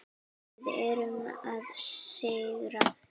Við erum að sigra.